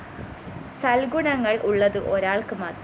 സല്‍ഗുണങ്ങള്‍ ഉള്ളത് ഒരാള്‍ക്ക് മാത്രം